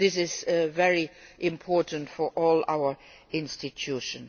an answer. This is very important for all our institutions.